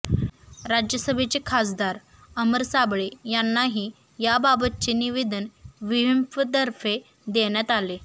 राज्यसभेचे खासदार अमर साबळे यांनाही याबाबतचे निवेदन विहिंपतर्फे देण्यात आले